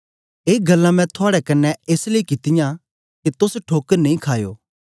ए गल्लां मैं थुआड़े कन्ने एस लेई कित्तियां के तोस ठोकर नेई खायो